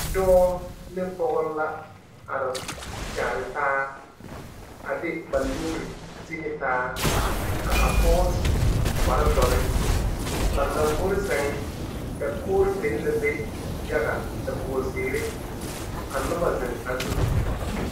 Dɔɔ ne pɔge la are kyɛre ta a de ba nuuri tenetaa ka a pɔge su kpaare dora ba lage boro seŋe dakoŋeri beŋe la be yaga dakoŋeri zeɛre ka noba zieŋ a zu.